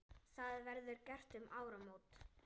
Það verði gert um áramót.